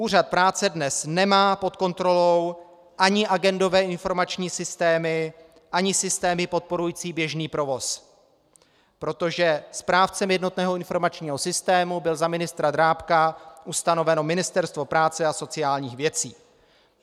Úřad práce dnes nemá pod kontrolou ani agendové informační systémy, ani systémy podporující běžný provoz, protože správcem jednotného informačního systému bylo za ministra Drábka ustanoveno Ministerstvo práce a sociálních věcí.